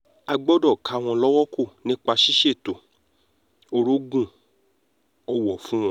a gbọ́dọ̀ ká wọn lọ́wọ́ kò nípa ṣíṣètò orogún-ọ̀wọ̀ fún wọn